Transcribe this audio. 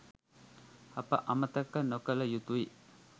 අප අමතක නොකළ යුතුයි